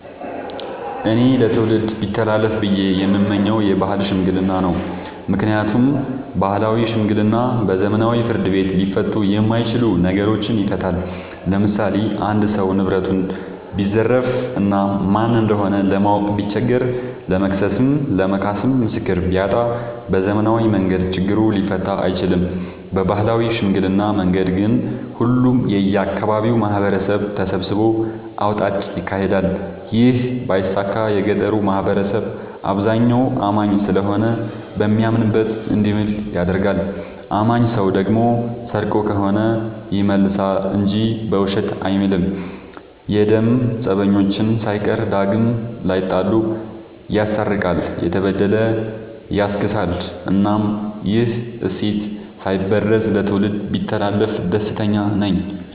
እኔ ለትውልድ ቢተላለፍ ብዬ የምመኘው የባህል ሽምግልና ነው። ምክንያቱም ባህላዊ ሽምግልና በዘመናዊ ፍርድ ቤት ሊፈቱ የማይችሉ ነገሮችን ይፈታል። ለምሳሌ አንድ ሰው ንብረቱን ቢዘረፍ እና ማን እንደሆነ ለማወቅ ቢቸገር ለመክሰስም ለመካስም ምስክር ቢያጣ በዘመናዊ መንገድ ችግሩ ሊፈታ አይችልም። በባህላዊ ሽምግልና መንገድ ግን ሁሉም የአካባቢው ማህበረሰብ ተሰብስቦ አውጣጭ ይካሄዳል ይህ ባይሳካ የገጠሩ ማህበረሰብ አብዛኛው አማኝ ስለሆነ በሚያምንበት እንዲምል ይደረጋል። አማኝ ሰው ደግሞ ሰርቆ ከሆነ ይመልሳ እንጂ በውሸት አይምልም። የደም ፀበኞችን ሳይቀር ዳግም ላይጣሉ ይስታርቃል፤ የተበደለ ያስክሳል እናም ይህ እሴት ሳይበረዝ ለትውልድ ቢተላለፍ ደስተኛ ነኝ።